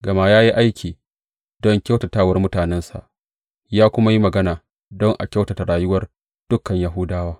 Gama ya yi aiki don kyautatawar mutanensa, ya kuma yi magana don a kyautata rayuwar dukan Yahudawa.